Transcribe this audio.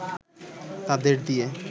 তাদের দিয়ে